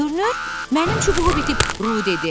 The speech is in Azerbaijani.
Görünür, mənim çubuğum itib, Ru dedi.